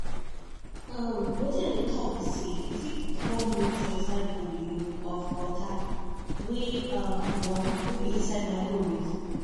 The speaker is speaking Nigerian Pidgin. um wetin i dey talk be say you fit warm milk for inside bowl um of water wey um warm nor be inside micowave.